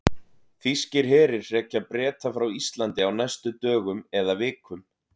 Þýskir herir hrekja Breta frá Íslandi á næstu dögum eða vikum.